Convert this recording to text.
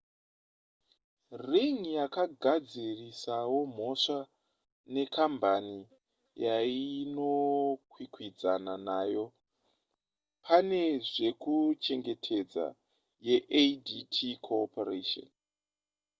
ring yakagadzirisawo mhosva nekambani yainokwikwidzana nayo pane zvekuchengetedza yeadt corporation